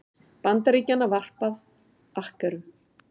Bandaríkjanna varpað akkerum.